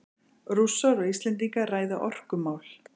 Rússar og Íslendingar ræða orkumál